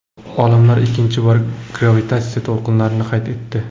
Olimlar ikkinchi bor gravitatsiya to‘lqinlarini qayd etdi.